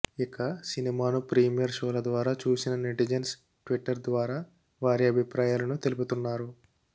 ఇక సినిమాను ప్రీమియర్ షోల ద్వారా చూసిన నెటిజన్స్ ట్విట్టర్ ద్వారా వారి అభిప్రాయాలను తెలుపుతున్నారు